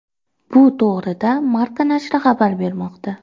Bu to‘g‘rida Marca nashri xabar bermoqda .